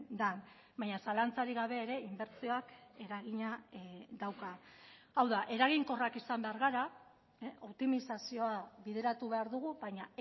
den baina zalantzarik gabe ere inbertsioak eragina dauka hau da eraginkorrak izan behar gara optimizazioa bideratu behar dugu baina